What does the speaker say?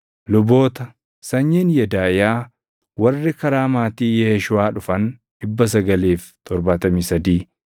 Luboota: Sanyiin Yedaaʼiyaa warri karaa maatii Yeeshuuʼaa dhufan 973